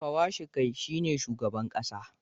Pwashikai shi ne shugaban kasa.